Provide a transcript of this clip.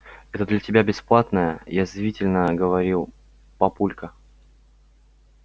это для тебя бесплатное язвительно говорил папулька